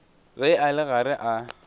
ge a le gare a